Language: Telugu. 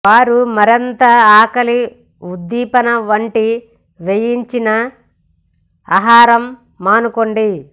వారు మరింత ఆకలి ఉద్దీపన వంటి వేయించిన ఆహారాలు మానుకోండి